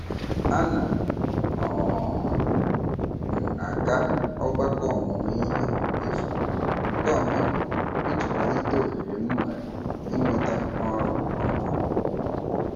A na um m aga ọgbakọ ọmụmụihe efu nke ọhaobodo iji kwalite ohere m nwere inweta ọrụ ọhụrụ.